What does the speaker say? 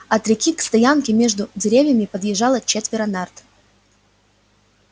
от реки к стоянке между деревьями подъезжало четверо нарт